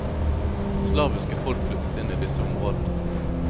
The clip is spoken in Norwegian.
Slaviske folk flyttet inn i disse områdene.